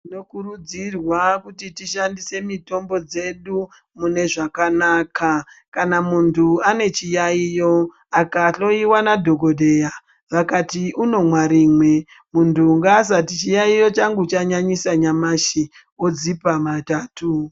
Tinokurudzirwa kuti tishandise mitombo dzedu mune zvakanaka. Kana muntu ane chiyaiyo, akahloiwa nadhokodheya, vakati unomwa rimwe, muntu ngaasati chiyaiyo changu chanyinyisa nyamashi odzipa matatu.